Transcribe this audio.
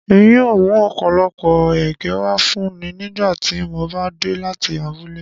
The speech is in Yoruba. Èmi yóò mú ọ̀pọ̀lọpọ̀ ẹ̀gẹ̀ wá fúnọ̀ nígbà tímò bá dé láti abúlẹ̀.